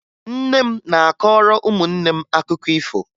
Nne m na-akọrọ ụmụnne m akụkọ ifo